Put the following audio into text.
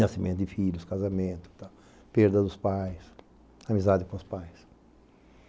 Nascimento de filhos, casamento, perda dos pais, amizade com os pais.